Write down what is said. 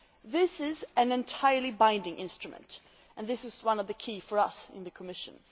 This is an entirely binding instrument and this is one of the key points for us in the Commission.